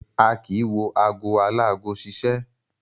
A kì í wo ago aláago ṣiṣẹ́.